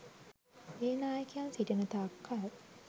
ඒ නායකයන් සිටින තාක් කල්